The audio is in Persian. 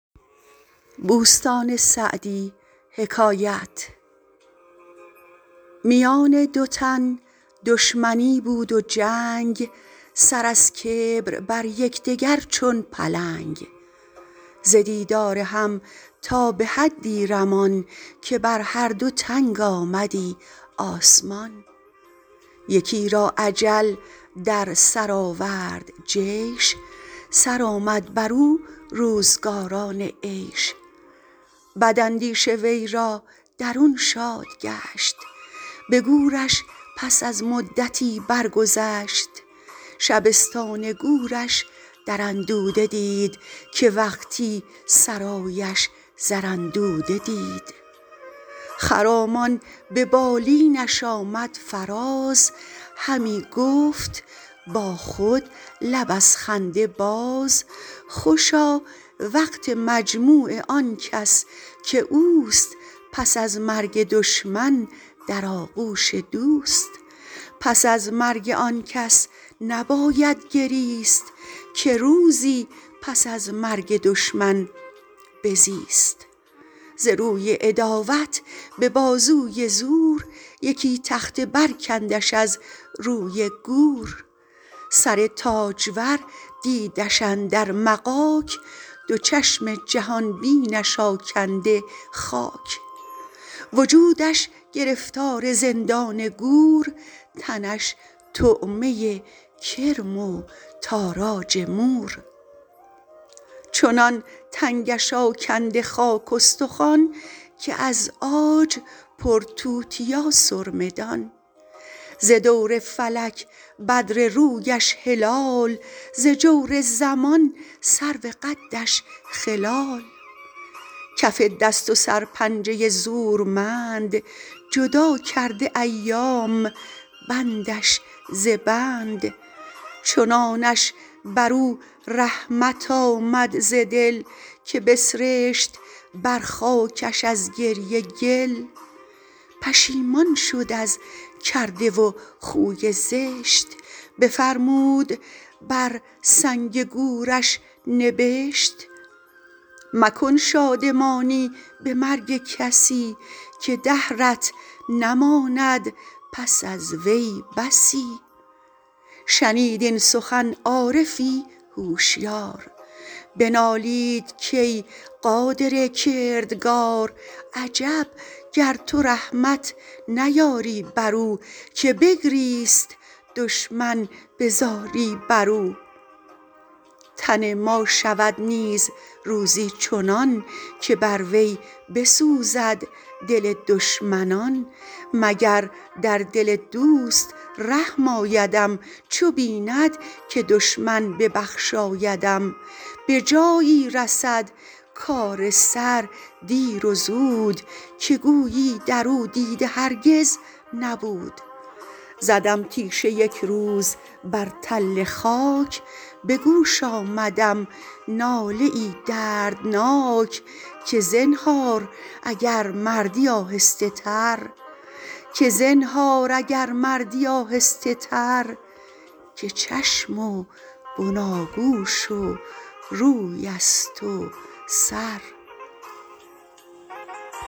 میان دو تن دشمنی بود و جنگ سر از کبر بر یکدگر چون پلنگ ز دیدار هم تا به حدی رمان که بر هر دو تنگ آمدی آسمان یکی را اجل در سر آورد جیش سرآمد بر او روزگاران عیش بداندیش او را درون شاد گشت به گورش پس از مدتی برگذشت شبستان گورش در اندوده دید که وقتی سرایش زر اندوده دید خرامان به بالینش آمد فراز همی گفت با خود لب از خنده باز خوشا وقت مجموع آن کس که اوست پس از مرگ دشمن در آغوش دوست پس از مرگ آن کس نباید گریست که روزی پس از مرگ دشمن بزیست ز روی عداوت به بازوی زور یکی تخته برکندش از روی گور سر تاجور دیدش اندر مغاک دو چشم جهان بینش آکنده خاک وجودش گرفتار زندان گور تنش طعمه کرم و تاراج مور چنان تنگش آکنده خاک استخوان که از عاج پر توتیا سرمه دان ز دور فلک بدر رویش هلال ز جور زمان سرو قدش خلال کف دست و سرپنجه زورمند جدا کرده ایام بندش ز بند چنانش بر او رحمت آمد ز دل که بسرشت بر خاکش از گریه گل پشیمان شد از کرده و خوی زشت بفرمود بر سنگ گورش نبشت مکن شادمانی به مرگ کسی که دهرت نماند پس از وی بسی شنید این سخن عارفی هوشیار بنالید کای قادر کردگار عجب گر تو رحمت نیاری بر او که بگریست دشمن به زاری بر او تن ما شود نیز روزی چنان که بر وی بسوزد دل دشمنان مگر در دل دوست رحم آیدم چو بیند که دشمن ببخشایدم به جایی رسد کار سر دیر و زود که گویی در او دیده هرگز نبود زدم تیشه یک روز بر تل خاک به گوش آمدم ناله ای دردناک که زنهار اگر مردی آهسته تر که چشم و بناگوش و روی است و سر